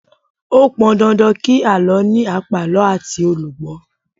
Ó pọn dandan kí àlọ́ ní àpàlọ́ àti olùgbó